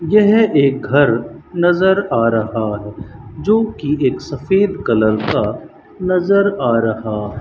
यह एक घर नज़र आ रहा है जोकि एक सफेद कलर का नज़र आ रहा --